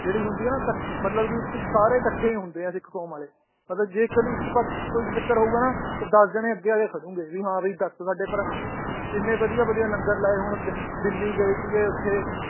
ਜਿਹੜੀ ਹੁੰਦੀ ਏ ਨਾ ਤਕ ਮਤਲਬ ਕਿ ਇੱਕ ਸਾਰੇ ਕੱਠੇ ਈ ਹੁੰਦੇ ਏ ਸਿੱਖ ਕੌਮ ਵਾਲੇ ਮਤਲਬ ਜੇ ਇੱਕ ਨੇ ਇੱਕ ਪੱਖ ਕੋਈ ਚੱਕਰ ਹੋਊਗਾ ਨਾ ਤਾਂ ਦੱਸ ਜਾਣੇ ਅੱਗੇ ਆ ਕੇ ਖਦੁਗੇ ਵੀ ਹਾਂ ਬੀ ਦੱਸ ਸਾਡੇ ਭਰਾ ਨੇ ਇਹਨੇ ਵਧੀਆ ਵਧੀਆ ਲੰਗਰ ਲਾਏ ਹੁੰਦੇ ਦਿੱਲੀ ਗਏ ਸੀਗੇ ਓਥੇ